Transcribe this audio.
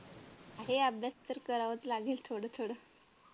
आहे अभ्यास तर करावाच लागेल थोडं थोडं